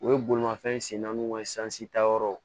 U ye bolimafɛn sen naaniw ka sansi ta yɔrɔw